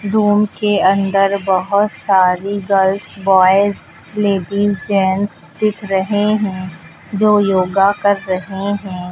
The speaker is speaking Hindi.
रूम के अंदर बहोत सारी गर्ल्स बॉयज लेडीज जेंट्स दिख रहे है जो योगा कर रहे है।